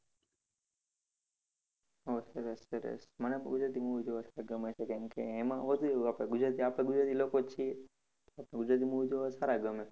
ઓહ સરસ સરસ મને પણ ગુજરાતી movie જોવા સારા ગમે છે કારણકે એમાં વધુ એવું આપડે ગુજરાતી, આપડે ગુજરાતી લોકો જ છીએ. એટલે ગુજરાતી movie જોવા સારા ગમે.